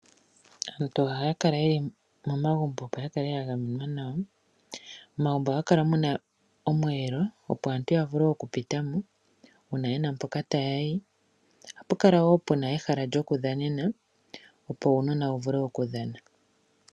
Aantu ohaya kala yeli momagumbo, opo ya kale ya gamenwa nawa. Momagumbo ohamu kala muna omweelo, opo aantu ya vule oku pita mo uuna yena mpoka taya yi. Ohapu kala wo puna ehala lyoku dhanena, opo uunona wu vule oku dhana.